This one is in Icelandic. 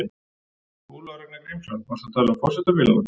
Ólafur Ragnar Grímsson: Varstu að tala um forsetabílana?